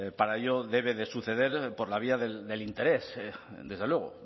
para ello debe de suceder por la vía del interés desde luego